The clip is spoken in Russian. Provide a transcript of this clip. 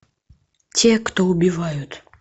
те кто убивают